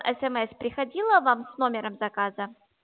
смс приходило вам с номером заказа